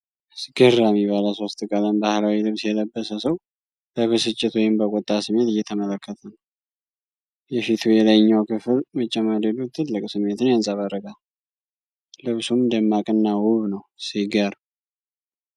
አስገራሚ! ባለሶስት ቀለም ባህላዊ ልብስ የለበሰ ሰው በብስጭት ወይም በቁጣ ስሜት እየተመለከተ ነው። የፊቱ የላይኛው ክፍል መጨማደዱ ጥልቅ ስሜትን ያንጸባርቃል፤ ልብሱም ደማቅና ውብ ነው። ሲገርም!